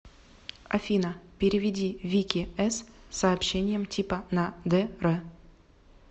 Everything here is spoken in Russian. афина переведи вике с сообщением типа на др